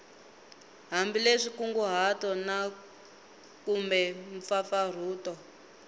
hambileswi nkunguhato na kumbe mpfampfarhuto